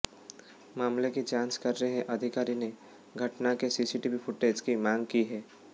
मामले की जांच कर रहे अधिकारी ने घटना के सीसीटीवी फुटेज की मांग की है